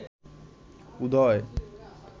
উদয়